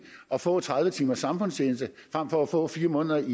at få tredive timers samfundstjeneste frem for at få fire måneders